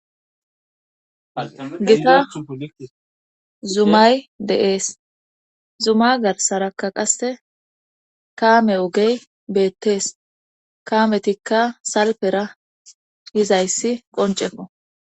Gita zumay de7ees zuma garsaraka qase kaame ogey beettees kaametikka salpera hizayssi qoncefo